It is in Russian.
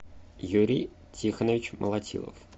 юрий тихонович молотилов